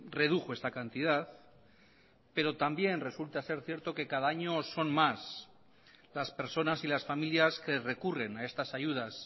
redujo esta cantidad pero también resulta ser cierto que cada año son más las personas y las familias que recurren a estas ayudas